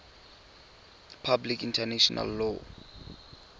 public international law